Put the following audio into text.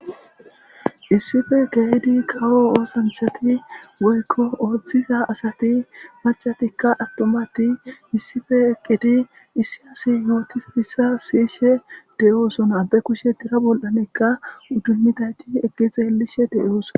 issife keydi kawo oosanthati woykko oothdtiza asati macatikka attomati issife eqqedi issi asi yootisi issa siyishe de7oosona be kushe dira bol7anekka uddummidayti egexe elishe de7oosona